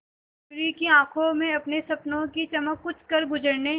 मयूरी की आंखों में अपने सपनों की चमक कुछ करगुजरने